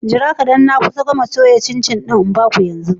Jira kadan na kusa gamawa da soya cin-cin zan ba ku yanzu.